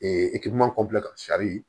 ka